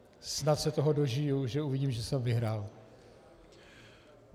Snad se toho dožiji, že uvidím, že jsem vyhrál.